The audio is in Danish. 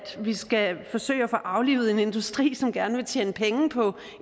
vi skal forsøge at få aflivet en industri som gerne vil tjene penge på